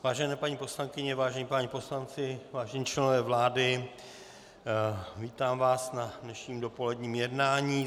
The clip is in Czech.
Vážené paní poslankyně, vážení páni poslanci, vážení členové vlády, vítám vás na dnešním dopoledním jednání.